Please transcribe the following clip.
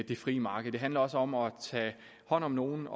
det frie marked det handler også om at tage hånd om nogle